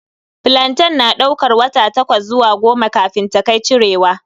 Flantain na daukar wata takwas zuwa goma kafin ta kai cirewa.